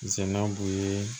Sɛnna b'u ye